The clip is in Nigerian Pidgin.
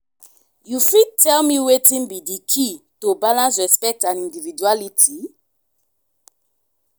you fit tell me wetin be di key to balance respect and individuality?